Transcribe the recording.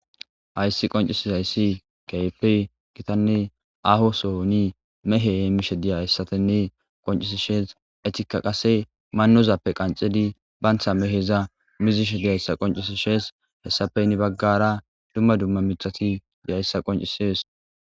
Hays qoncizays keehippe gitanne aho sohoni mehe hemishe dizaysa qoncisishe manozappw qanxid miza muzishe dishe hesappe he bagara dumma dumma mithat dizaysa qoncises.